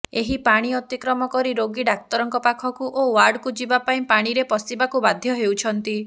ଏହି ପାଣି ଅତିକ୍ରମ କରି ରୋଗୀ ଡାକ୍ତରଙ୍କ ପାଖକୁ ଓ ଓ୍ୟାର୍ଡକୁ ଯିବାପାଇଁ ପାଣିରେ ପଶିବାକୁ ବାଧ୍ୟ ହେଉଛନ୍ତି